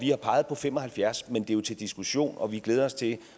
har peget på fem og halvfjerds men det er jo til diskussion og vi glæder os til